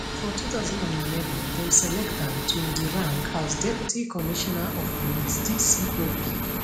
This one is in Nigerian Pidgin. for 2011 dem select am to di rank as deputy commissioner of police dcop